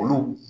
Olu